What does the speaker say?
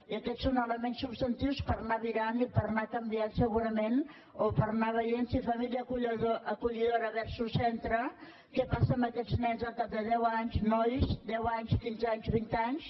i aquests són elements substantius per anar virant i per anar canviant segurament o per anar veient si família acollidora versusamb aquests nens al cap de deu anys nois deu anys quinze anys vint anys